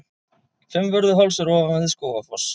Fimmvörðuháls er ofan við Skógafoss.